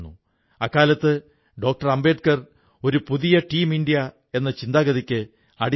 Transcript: വലിയ സങ്കേതികവിദ്യയും ലോജിസ്റ്റിക്സുമുള്ള കമ്പനികൾക്കേ ഇത് സാധിക്കൂ എന്ന സ്ഥിതി വിശേഷം മാറി